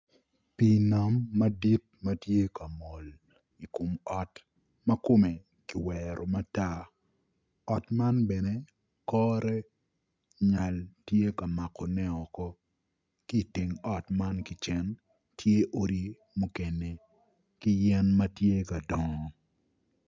Pii nam madit ma tye ka mol i kom ot ma kome kiwero matar ot man bene kore nyal tye ka makone oko ki iteng ot man ki cen tye odi mukene ki yen ma tye ka dongo